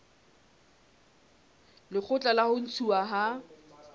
lekgotla la ho ntshuwa ha